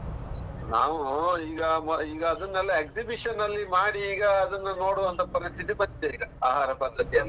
ನಾವು ಈಗ ಮೊ ಈಗ ಅದನೆಲ್ಲ exhibition ಅಲ್ಲಿ ಮಾಡಿ ಈಗ ಅದನ್ನ ನೋಡುವಂತ ಪರಿಸ್ಥಿತಿ ಬಂದಿದೆ ಈಗ, ಆಹಾರ ಪದ್ದತಿಯನ್ನು.